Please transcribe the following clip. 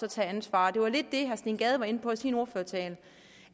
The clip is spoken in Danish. og tage ansvar det var lidt det herre steen gade var inde på i sin ordførertale